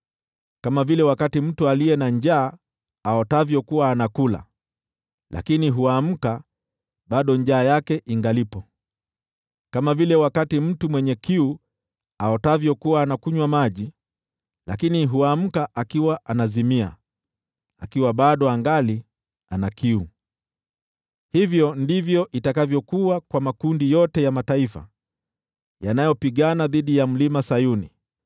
kama vile mtu aliye na njaa aotavyo kuwa anakula, lakini huamka, bado njaa yake ingalipo, kama vile mtu mwenye kiu aotavyo kuwa anakunywa maji, lakini huamka akiwa anazimia, akiwa bado angali ana kiu. Hivyo ndivyo itakavyokuwa kwa makundi yote ya mataifa yanayopigana dhidi ya Mlima Sayuni.